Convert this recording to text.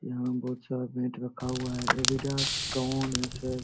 यहाँ बोहोत सारा बैट रखा हुआ है अडिडास टोन एस.एस. --